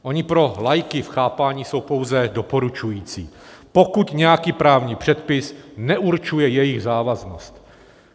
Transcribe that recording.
Ony pro laiky v chápání jsou pouze doporučující, pokud nějaký právní předpis neurčuje jejich závaznost.